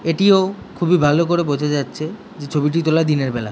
এটিও খুবই ভালো করে বোঝা যাচ্ছে যে ছবিটা তোলা দিনের বেলা ।